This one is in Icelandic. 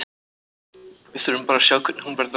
Við þurfum bara að sjá hvernig hún verður á morgun.